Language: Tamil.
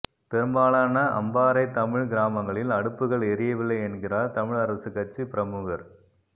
பெரும்பாலான அம்பாறை தமிழ்க் கிராமங்களில் அடுப்புகள் எரியவில்லை என்கிறார் தமிழரசுக்கட்சிப் பிரமுகர்